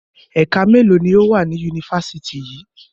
Ẹ̀ka mélòó ni ó wà ní Yunifásítì yìí?